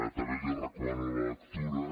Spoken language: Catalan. també n’hi recomano la lectura